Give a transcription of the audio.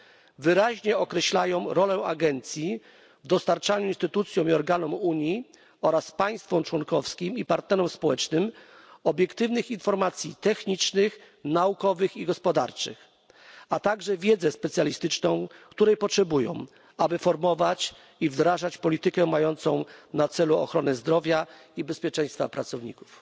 r., wyraźnie określają rolę agencji w dostarczaniu instytucjom i organom Unii oraz państwom członkowskim i partnerom społecznym obiektywnych informacji technicznych, naukowych i gospodarczych, a także wiedzy specjalistycznej, której potrzebują, aby formułować i wdrażać politykę mającą na celu ochronę zdrowia i bezpieczeństwa pracowników.